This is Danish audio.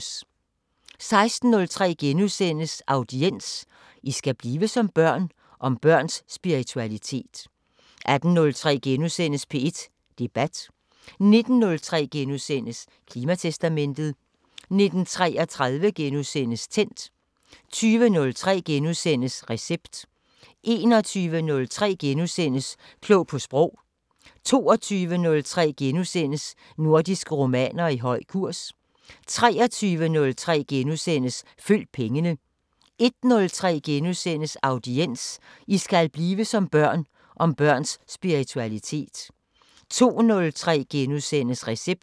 16:03: Audiens: "I skal blive som børn..." – om børns spiritualitet * 18:03: P1 Debat * 19:03: Klimatestamentet * 19:33: Tændt * 20:03: Recept * 21:03: Klog på Sprog * 22:03: Nordiske romaner i høj kurs * 23:03: Følg pengene * 01:03: Audiens: "I skal blive som børn..." – om børns spiritualitet * 02:03: Recept *